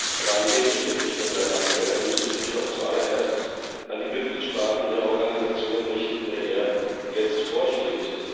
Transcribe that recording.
Aber an wen richtet sich denn sein Appell? Er müsste sich doch zuallererst an die Mitgliedstaaten der Organisation richten, der er jetzt vorsteht.